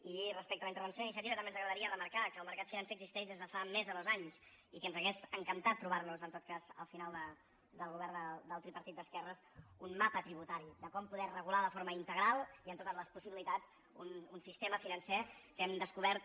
i respecte a la intervenció d’iniciativa també ens agradaria remarcar que el mercat financer existeix des de fa més de dos anys i que ens hauria encantat trobar nos en tot cas al final del govern del tripartit d’esquerres un mapa tributari de com poder regular de forma integral i amb totes les possibilitats un sistema financer que hem descobert